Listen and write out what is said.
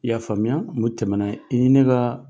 I y'a faamuya, o tɛmɛna i ni ne ka